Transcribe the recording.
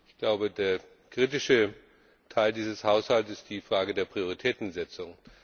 Ich glaube, der kritische Teil dieses Haushalts ist die Frage der Prioritätensetzung.